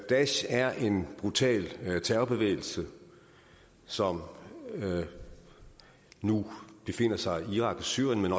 daesh er en brutal terrorbevægelse som nu befinder sig i irak og syrien men